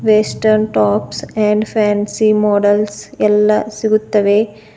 Western tops and fancy models ಎಲ್ಲಾ ಸಿಗುತ್ತವೆ.